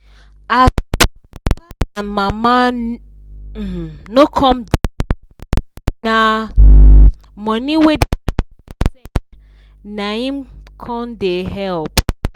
as dia papa and mama um no come da work na um money wey the children da send naim um com da help